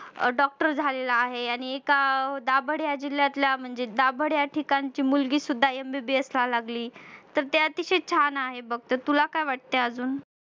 अह doctor झालेले आहे आणि एका दाभड या जिल्ह्यातल्या दाभड या ठिकाणची मुलगी सुद्धा MBBS व्हायला लागली तर ते अतिशय छान आहे बघ तर तुला काय वाटतंय अजून